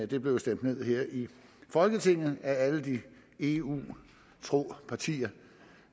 det blev stemt ned her i folketinget af alle de eu tro partier